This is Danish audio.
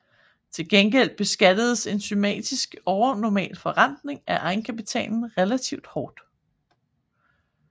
Til gengæld beskattedes en systematisk overnormal forrentning af egenkapitalen relativt hårdt